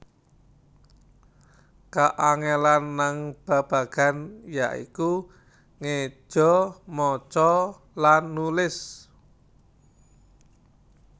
Kaangelan nang babagan ya iku ngeja maca lan nulis